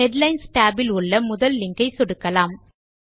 headlines tab பிலுள்ள முதல் link ஐ சொடுக்கலாம்